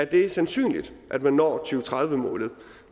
det er sandsynligt at man når to tusind og tredive målet